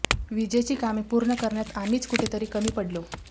वीजेची कामे पूर्ण करण्यात आम्हीच कुठेतरी कमी पडलो